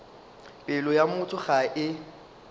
pelo ya motho ga e